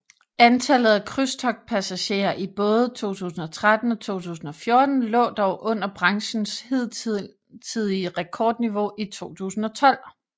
Antallet af krydstogtpassagerer i både 2013 og 2014 lå dog under branchens hidtidige rekordniveau i 2012